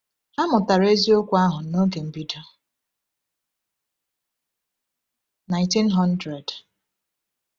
Ha mụtara eziokwu ahụ n’oge mbido 1900.